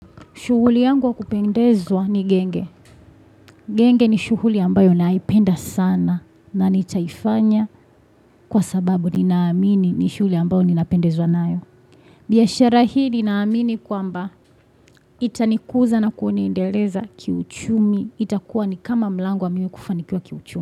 Shughuli yangu wa kupendezwa ni genge. Genge ni shughuli ambayo naipenda sana na nitaifanya kwa sababu ninaamini ni shughuli ambayo ninapendezwa nayo. Biashara hii ni naamini kwamba itanikuza na kunineendeleza kiuchumi. Itakuwa ni kama mlango wa mimi kufanikiwa kiuchumi.